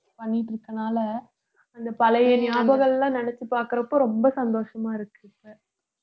பண்ணிட்டு இருக்கறதுனால அந்த பழைய நியாபகம் எல்லாம் நினைச்சு பார்க்கிறப்போ ரொம்ப சந்தோஷமா இருக்கு இப்ப